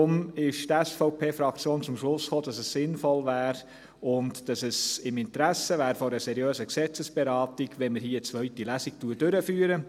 Daher ist die SVPFraktion zum Schluss gekommen, dass es sinnvoll und im Interesse einer seriösen Gesetzesberatung wäre, wenn wir eine zweite Lesung durchführen.